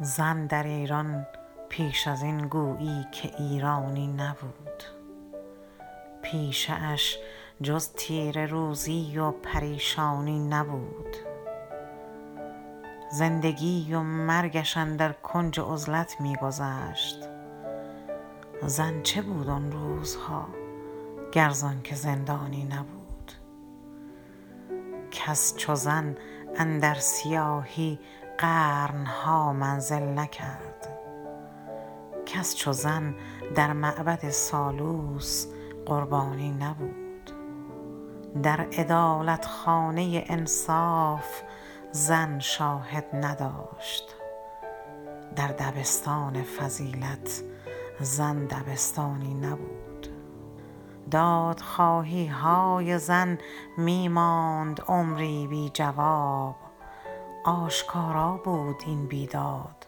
زن در ایران پیش از این گویی که ایرانی نبود پیشه اش جز تیره روزی و پریشانی نبود زندگی و مرگش اندر کنج عزلت می گذشت زن چه بود آن روزها گر زآنکه زندانی نبود کس چو زن اندر سیاهی قرن ها منزل نکرد کس چو زن در معبد سالوس قربانی نبود در عدالت خانه انصاف زن شاهد نداشت در دبستان فضیلت زن دبستانی نبود دادخواهی های زن می ماند عمری بی جواب آشکارا بود این بیداد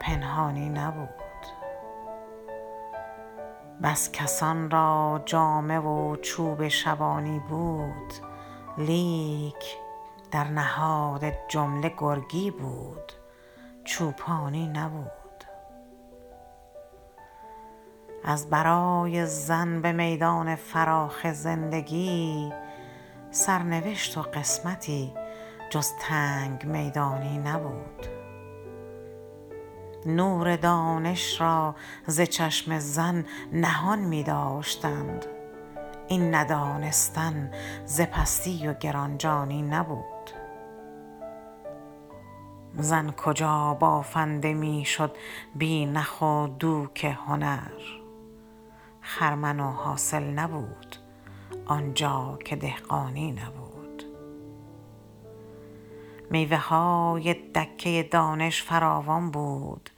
پنهانی نبود بس کسان را جامه و چوب شبانی بود لیک در نهاد جمله گرگی بود چوپانی نبود ازبرای زن به میدان فراخ زندگی سرنوشت و قسمتی جز تنگ میدانی نبود نور دانش را ز چشم زن نهان می داشتند این ندانستن ز پستی و گران جانی نبود زن کجا بافنده می شد بی نخ و دوک هنر خرمن و حاصل نبود آنجا که دهقانی نبود میوه های دکه دانش فراوان بود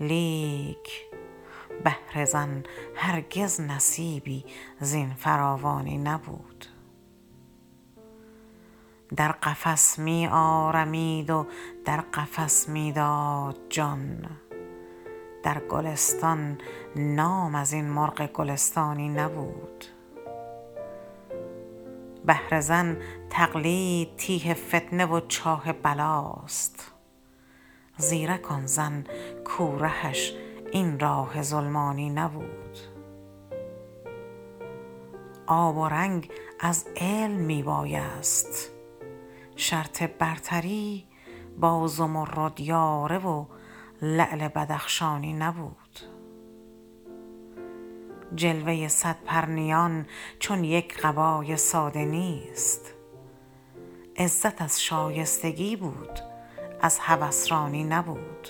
لیک بهر زن هرگز نصیبی زین فراوانی نبود در قفس می آرمید و در قفس می داد جان در گلستان نام ازین مرغ گلستانی نبود بهر زن تقلید تیه فتنه و چاه بلاست زیرک آن زن کو رهش این راه ظلمانی نبود آب و رنگ از علم می بایست شرط برتری با زمرد یاره و لعل بدخشانی نبود جلوه صد پرنیان چون یک قبای ساده نیست عزت از شایستگی بود از هوس رانی نبود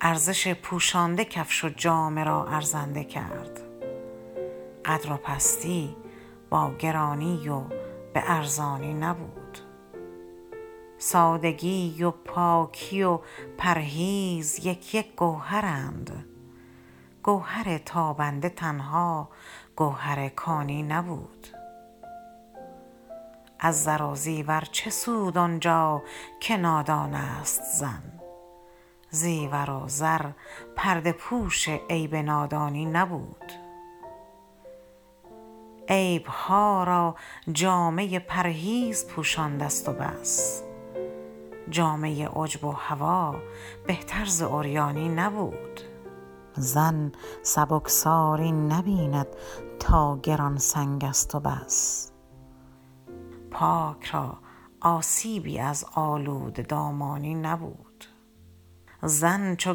ارزش پوشانده کفش و جامه را ارزنده کرد قدر و پستی با گرانی و به ارزانی نبود سادگی و پاکی و پرهیز یک یک گوهرند گوهر تابنده تنها گوهر کانی نبود از زر و زیور چه سود آنجا که نادان است زن زیور و زر پرده پوش عیب نادانی نبود عیب ها را جامه پرهیز پوشانده ست و بس جامه عجب و هوی بهتر ز عریانی نبود زن سبکساری نبیند تا گران سنگ است و بس پاک را آسیبی از آلوده دامانی نبود زن چو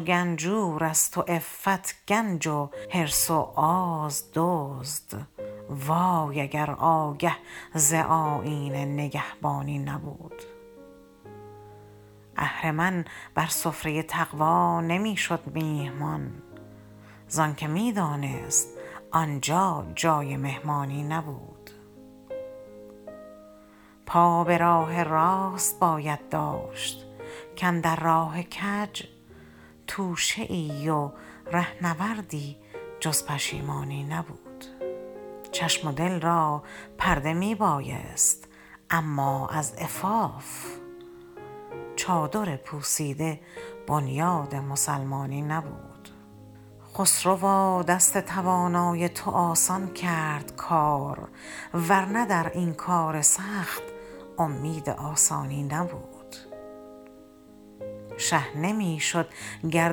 گنجور است و عفت گنج و حرص و آز دزد وای اگر آگه ز آیین نگهبانی نبود اهرمن بر سفره تقوی نمی شد میهمان زآنکه می دانست کآنجا جای مهمانی نبود پا به راه راست باید داشت کاندر راه کج توشه ای و رهنوردی جز پشیمانی نبود چشم و دل را پرده می بایست اما از عفاف چادر پوسیده بنیاد مسلمانی نبود خسروا دست توانای تو آسان کرد کار ورنه در این کار سخت امید آسانی نبود شه نمی شد گر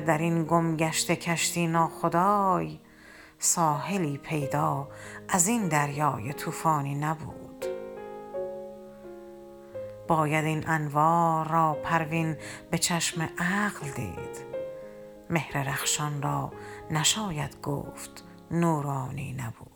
در این گمگشته کشتی ناخدای ساحلی پیدا از این دریای طوفانی نبود باید این انوار را پروین به چشم عقل دید مهر رخشان را نشاید گفت نورانی نبود